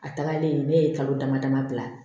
A tagalen ne ye kalo dama dama bila